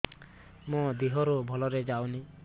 ମୋ ଦିହରୁ ଭଲରେ ଯାଉନି